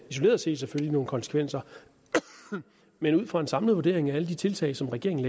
isoleret set nogle konsekvenser men ud fra en samlet vurdering af alle de tiltag som regeringen